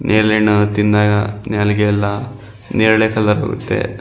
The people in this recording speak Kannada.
ನೇರಳೆ ಹಣ್ಣನ್ನ ತಿಂದಾಗ ನಾಲಿಗೆಯೆಲ್ಲ ನೇರಳೆ ಕಲರ್ ಬರುತ್ತೆ--